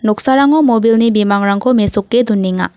noksarango mobile-ni bimangrangko mesoke donenga.